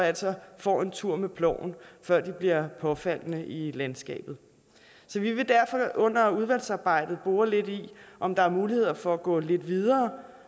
altså får en tur med ploven før de bliver påfaldende i landskabet vi vil derfor under udvalgsarbejdet bore lidt i om der er mulighed for at gå lidt videre